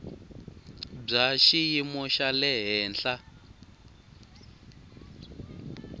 bya xiyimo xa le henhla